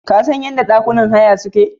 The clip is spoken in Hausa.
Kasan yadda ɗakunan haya suke?